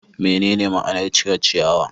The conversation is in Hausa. Menene ma'anar cire ciyawa?